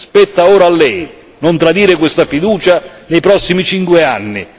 Spetta ora a Lei non tradire questa fiducia nei prossimi cinque anni.